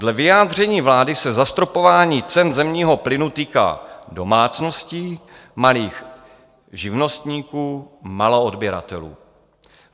Dle vyjádření vlády se zastropování cen zemního plynu týká domácností, malých živnostníků, maloodběratelů.